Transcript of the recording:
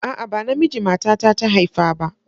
A'a, ba namiji matata ta haifa ba.